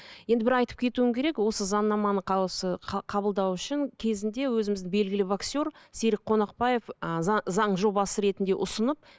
енді бір айтып кетуім керек осы заңнаманы қабылдау үшін кезінде өзіміздің белгілі боксер серік конақбаев ы заң жобасы ретінде ұсынып